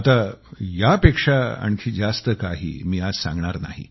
आता यापेक्षा आणखी जास्त काही मी आज सांगणार नाही